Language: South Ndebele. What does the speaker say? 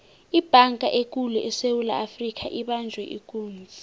ibhanga ekulu esewula afrika ibanjwe ikunzi